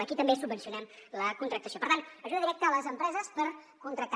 aquí també subvencionem la contractació per tant ajuda directa a les empreses per contractar